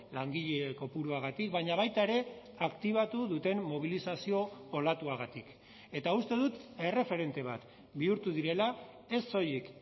langile kopuruagatik baina baita ere aktibatu duten mobilizazio olatuagatik eta uste dut erreferente bat bihurtu direla ez soilik